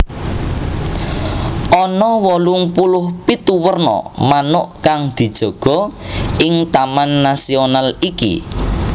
Ana wolung puluh pitu werna manuk kang dijaga ing taman nasional iki